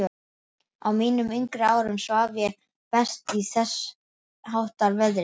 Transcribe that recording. Á mínum yngri árum svaf ég best í þessháttar veðri.